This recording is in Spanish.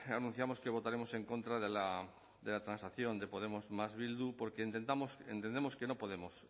anunciamos que votaremos en contra de la transacción de podemos más bildu porque entendemos que no podemos